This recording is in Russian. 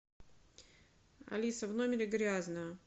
алиса в номере грязно